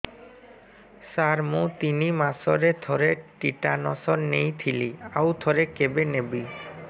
ସାର ମୁଁ ତିନି ମାସରେ ଥରେ ଟିଟାନସ ନେଇଥିଲି ଆଉ ଥରେ କେବେ ନେବି